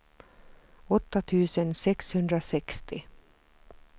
åtta tusen sexhundrasextio